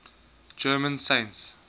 german saints